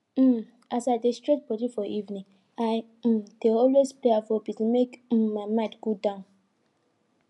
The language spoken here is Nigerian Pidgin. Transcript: um as i dey stretch body for evening i um dey always play afrobeat make um my mind cool down